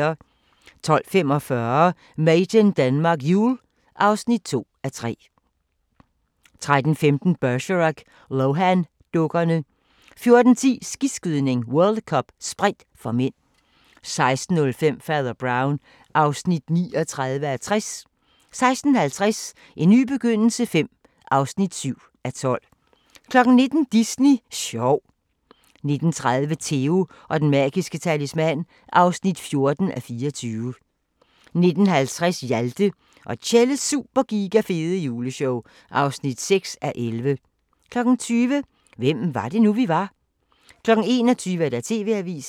12:45: Made in Denmark Jul (2:3) 13:15: Bergerac: Lohan-dukkerne 14:10: Skiskydning: World Cup - Sprint (m) 16:05: Fader Brown (39:60) 16:50: En ny begyndelse V (7:12) 19:00: Disney sjov 19:30: Theo & den magiske talisman (14:24) 19:50: Hjalte og Tjelles Super Giga Fede Juleshow (6:11) 20:00: Hvem var det nu, vi var? 21:00: TV-avisen